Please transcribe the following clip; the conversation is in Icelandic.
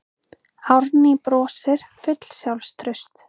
Árný brosir full sjálfstrausts.